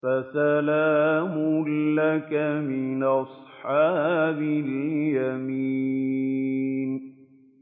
فَسَلَامٌ لَّكَ مِنْ أَصْحَابِ الْيَمِينِ